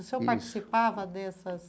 O senhor participava dessas?